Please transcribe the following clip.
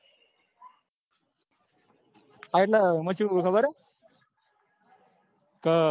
હા એટલે એમાં કેવું હોય ખબર હ